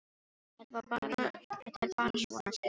Þetta er bara svona, segir Sigrún.